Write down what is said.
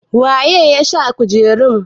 waye ya sa kujerun?